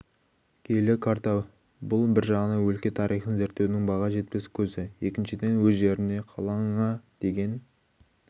киелі карта бұл бір жағынан өлке тарихын зерттеудің баға жетпес көзі екіншіден өз жеріне қалаңа деген